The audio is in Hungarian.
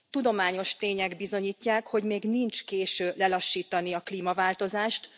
Tudományos tények bizonyítják, hogy még nincs késő lelassítani a klímaváltozást.